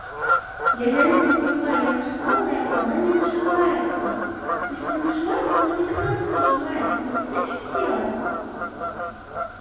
я реально не понимаю я нажимала на эту она не нажимается то есть она нажимается но не до конца нажимается я не знаю что делать